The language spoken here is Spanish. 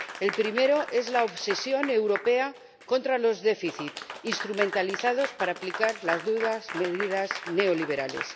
El primero es la obsesión europea contra los déficits, instrumentalizados para aplicar las duras medidas neoliberales.